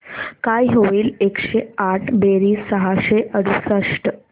काय होईल एकशे आठ बेरीज सहाशे अडुसष्ट